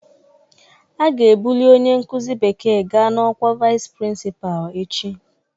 A ga-ebuli onye nkuzi bekee gaa na ọkwa Vice Principal echi